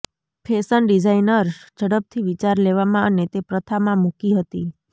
fashion designers ઝડપથી વિચાર લેવામાં અને તે પ્રથા માં મૂકી હતી